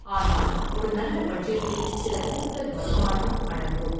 ஆனால் ஒரு நல்ல பட்ஜெட்டில் சில கூடுதல் வருமானமும் அடங்கும்.